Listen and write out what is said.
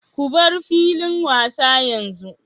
Ku bar filin wasa yanzu!